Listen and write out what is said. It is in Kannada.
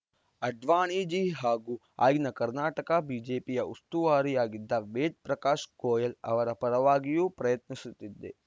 ಅಡ್ವಾಣಿಜೀ ಹಾಗೂ ಆಗಿನ ಕರ್ನಾಟಕ ಬಿಜೆಪಿಯ ಉಸ್ತುವಾರಿಯಾಗಿದ್ದ ವೇದಪ್ರಕಾಶ್‌ ಗೋಯಲ್‌ ಅವರ ಪರವಾಗಿಯೂ ಪ್ರಯತ್ನಿಸುತ್ತಿದ್ದೆ